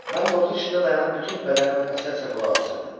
Mən qorxu içində dayanıb bütün bədənim əsə-əsə qulaq asırdım.